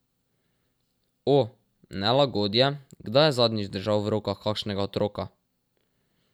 O, nelagodje, kdaj je zadnjič držal v rokah kakšnega otroka?